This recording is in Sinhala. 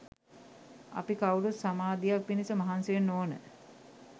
අපි කවුරුත් සමාධියක් පිණිස මහන්සි වෙන්න ඕන